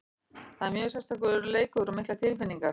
Þetta er mjög sérstakur leikur og miklar tilfinningar.